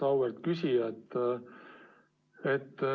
Auväärt küsija!